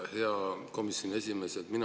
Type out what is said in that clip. Hea komisjoni esimees!